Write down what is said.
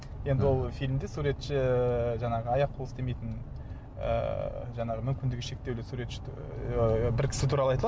енді ол фильмде суретші жаңағы аяқ қолы істемейтін ыыы жаңағы мүмкіндігі шектеулі суретші ыыы бір кісі туралы айтылады